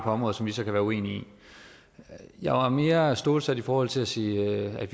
området som vi så kan være uenige i jeg var mere stålsat i forhold til at sige at